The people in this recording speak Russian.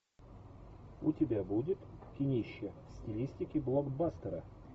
у тебя будет кинище в стилистике блокбастера